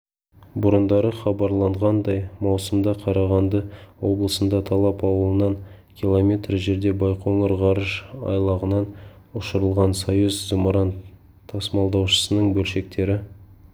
бұрындары хабарланғандай маусымда қарағанды облысында талап аулынан километр жерде байқоңыр ғарыш айлағынан ұшырылған союз зымыран-тасымалдаушысының бөлшектері